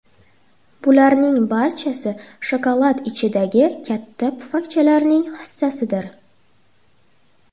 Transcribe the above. Bularning barchasi shokolad ichidagi katta pufakchalarning hissasidir.